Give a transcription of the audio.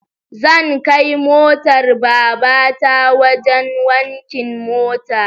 Zab kai motar babata wajen wankin mota